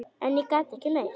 En ég gat ekki meir.